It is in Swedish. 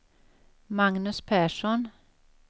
Magnus Persson